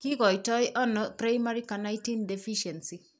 Kikoitoono primary carnitine deficiency ?